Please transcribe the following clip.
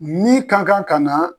Min kan kan ka na.